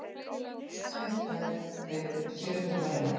Sér-deild og sér-úrræði.